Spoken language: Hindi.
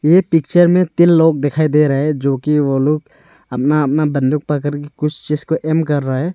ये पिक्चर में तीन लोग दिखाई दे रहे है जोकि वो लोग अपना अपना बंदूक पकड़ के कुछ चीज को एम कर रहे है।